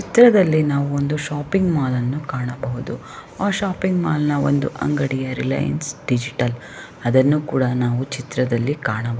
ಈ ಚಿತ್ರದಲ್ಲಿ ನಾವು ಒಂದು ಶಾಪಿಂಗ್ ಮಾಲ್ ಅನ್ನು ಕಾಣಬಹುದು ಆ ಶಾಪಿಂಗ್ ಮಾಲ್ ನ ಒಂದು ರಿಲಯನ್ಸ್ ಡಿಜಿಟಲ್ ಅದು ಕೂಡ ನಾವು ಚಿತ್ರದಲ್ಲಿ ಕಾಣಬಹುದು.